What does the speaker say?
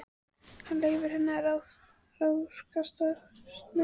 Hann leyfir henni að ráðskast með sig.